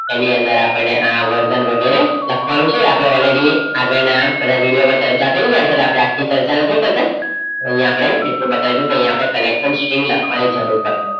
એની અંદર આપણે આ વરસન વગરે લખવાનું છે અપડે already આગડ ના બધા વિડિયો ચર્ચા કરી તો અપડે આખી ફાઇલ અઇ અપડે એટલું બતાયુ કે આઇયાહ અપડે collection string લખવાની જરૂર પડસે